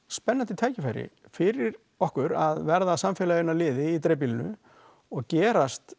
tækifæri fyrir okkur að vera samfélaginu að liði í dreifbýlinu og gerast